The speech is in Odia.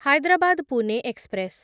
ହାଇଦ୍ରାବାଦ ପୁନେ ଏକ୍ସପ୍ରେସ୍